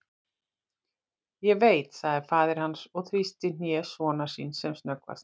Ég veit, sagði faðir hans og þrýsti hné sonar síns sem snöggvast.